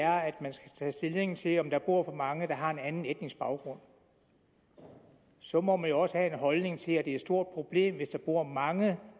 er at der skal tages stilling til om der bor for mange der har en anden etnisk baggrund så må man jo også have en holdning til at det er et stort problem hvis der bor mange